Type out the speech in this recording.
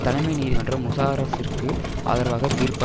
தலைமை நீதிமன்றம் முஷாரஃப்பிற்கு ஆதரவாக தீர்ப்பு